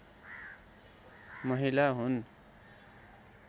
महिला हुन्